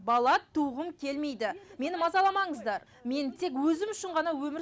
бала туғым келмейді мені мазаламаңыздар мен тек өзім үшін ғана өмір